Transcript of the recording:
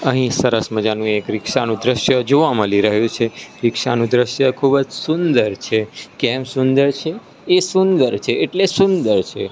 અહીં સરસ મજાનું એક રીક્ષા નું દૃશ્ય જોવા મળી રહ્યું છે રીક્ષા નું દૃશ્ય ખૂબ જ સુંદર છે કેમ સુંદર છે એ સુંદર છે એટલે સુંદર છે.